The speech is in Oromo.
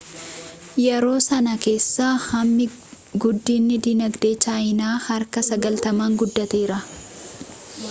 yeroo sanaa kaasee hammi guddinii dinagdee chaayinaa harka 90n guddateera